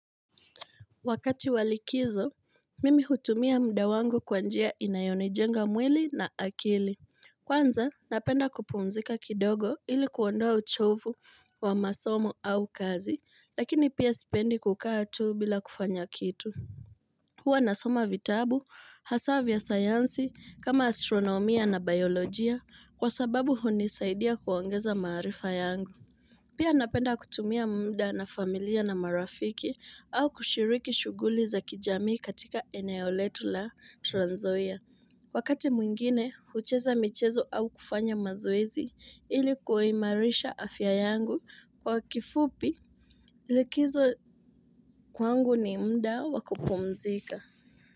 Wakati wa likizo, mimi hutumia mda wangu kwa njia inayonijenga mwili na akili. Kwanza, napenda kupumzika kidogo ili kuondoa uchovu wa masomo au kazi, lakini pia sipendi kukaa tuu bila kufanya kitu. Huwa nasoma vitabu, hasa vya sayansi, kama astronomia na biolojia, kwa sababu hunisaidia kuongeza maarifa yangu. Pia napenda kutumia mda na familia na marafiki au kushiriki shuguli za kijamii katika eneo letu la transnzoia Wakati mwingine hucheza michezo au kufanya mazoezi ili kuimarisha afya yangu kwa kifupi likizo kwangu ni mda wa kupumzika.